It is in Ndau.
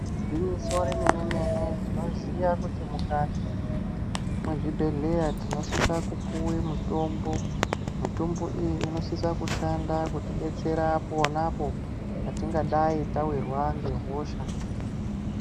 Igwinyiso remene mene tinoziya kuti mukati mwezvibhedhlera tinosise kupuwe mitombo. Mitombo iyi inosise kutibetsera pona apo patingadayi tawirwa ngehosha.